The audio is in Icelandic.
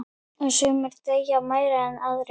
Sumir deyja meira en aðrir.